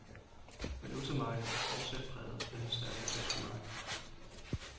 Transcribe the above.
Valutamarkedet er fortsat præget af den stærke tyske mark.